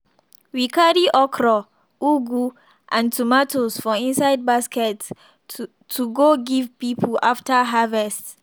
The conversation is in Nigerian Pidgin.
we carry okra ugu and tomatoes for inside basket to to go give people after harvest.